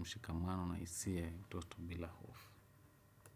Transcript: mshikamano na hisia ya utoto bila hofu.